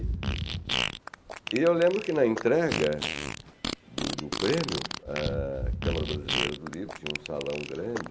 E eu lembro que na entrega do do prêmio, a Câmara Brasileira do Livro tinha um salão grande,